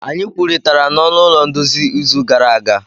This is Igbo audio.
Anyị kwurịtara n'ọnụ ụlọ nduzi izu gara aga.